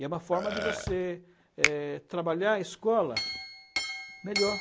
E é uma forma de você eh trabalhar a escola melhor.